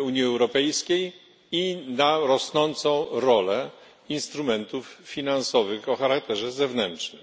Unii Europejskiej i na rosnącą rolę instrumentów finansowych o charakterze zewnętrznym.